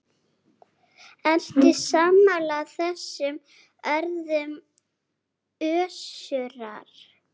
Ertu sammála þessum orðum Össurar?